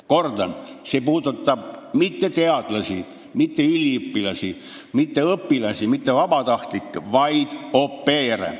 Kordan: see puudutab mitte teadlasi, üliõpilasi, õpilasi või vabatahtlikke, vaid au pair'e.